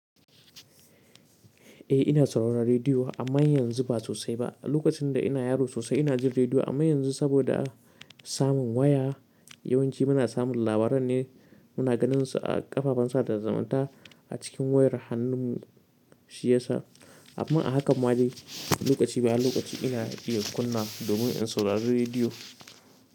Eh ina sauraron rediyo amma yanzu ba sosai ba. Lokacin da ina yaro sosai ina jin rediyo amma yanzu saboda samun waya yawanci muna samun labaran ne muna ganinsa a ƙafafen sada zumunta a cikin wayar hannunmu shi yasa. Amma a hakan madai lokaci bayan lokaci ina iya kunna domin in saurari rediyo.